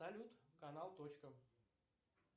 салют канал точка